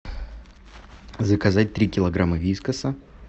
заказать три килограмма вискаса